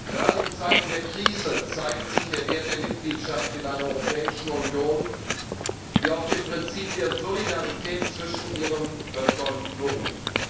Gerade in Zeiten der Krise zeigt sich der Wert der Mitgliedschaft in einer Europäischen Union, die auf dem Prinzip der Solidarität zwischen ihren Völkern beruht.